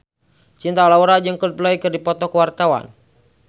Cinta Laura jeung Coldplay keur dipoto ku wartawan